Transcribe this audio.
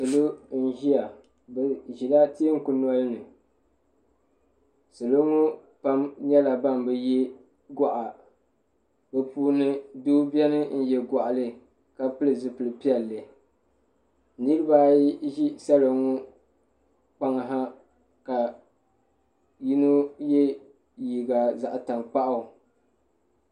salo n-ʒiya bɛ ʒila teeku noli ni salo ŋɔ pam nyɛla ban bi ye gɔɣa bɛ puuni doo beni n-ye gɔɣili ka pili zupil' piɛlli niriba ayi ʒi salo ŋɔ kpaŋa ha ka yino ye liiga zaɣ' tankpaɣu.